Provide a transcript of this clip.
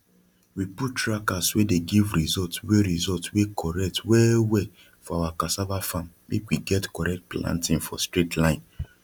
we put trackers wey dey give result wey result wey correct well well for our cassava farm make we get correct planting for straight line